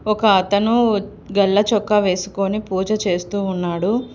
ఒక అతను గళ్ళ చొక్కా వేసుకొని పూజ చేస్తూ ఉన్నాడు.